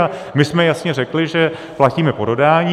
A my jsme jasně řekli, že platíme po dodání.